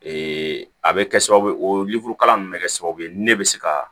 a bɛ kɛ sababu ye o kalan nunnu bɛ kɛ sababu ye ne bɛ se ka